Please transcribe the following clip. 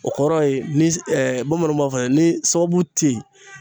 O kɔrɔ ni bamananw b'a fɔ ni sababu te yen.